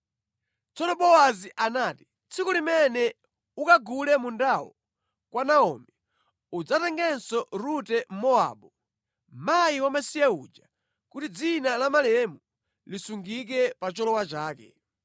Tsono Bowazi anati, “Tsiku limene ukagule mundawo kwa Naomi, udzatenganso Rute Mmowabu, mkazi wamasiye uja, kuti dzina la malemu lisungike pa cholowa chake.”